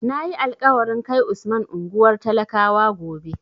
Na yi alƙawarin kai Usman unguwar talakawa gobe.